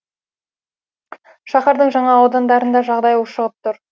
шаһардың жаңа аудандарында жағдай ушығып тұр